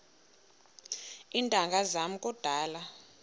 iintanga zam kudala